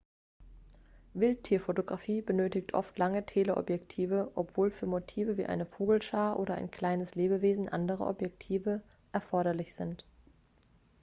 wildtierfotografie benötigt oft lange teleobjektive obwohl für motive wie eine vogelschar oder ein kleines lebewesen andere objektive erforderlich sind